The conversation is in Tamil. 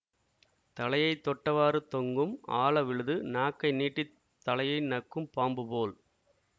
தலையை தொட்டவாறு தொங்கும் ஆல விழுது நாக்கை நீட்டித் தலையை நக்கும் பாம்புபோல்